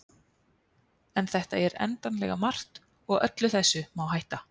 en þetta er endanlega margt og öllu þessu má hætta